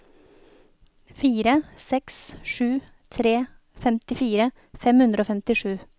fire seks sju tre femtifire fem hundre og femtisju